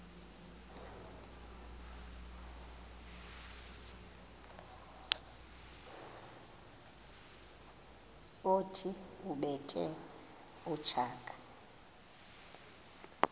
othi ubethe utshaka